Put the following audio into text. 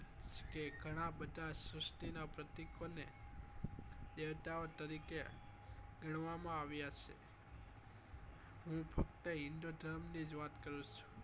કે ગણા બધા શ્રુષ્ટિ નાં પ્રતીકો ને દેવતાઓ તરીકે ગણવા માં આવ્યા છે હું ફક્ત હિન્દુધર્મ ની જ વાત કરું છું